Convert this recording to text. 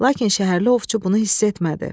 Lakin şəhərli ovçu bunu hiss etmədi.